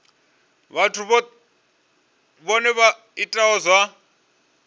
vhathu vhohe vha itaho zwa